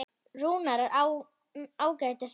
Rúnar er ágætis náungi.